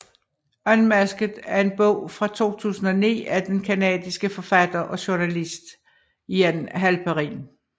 Unmasked er en bog fra 2009 af den canadiske forfatter og journalist Ian Halperin